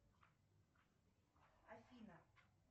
афина